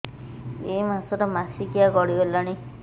ଏଇ ମାସ ର ମାସିକିଆ ଗଡି ଗଲାଣି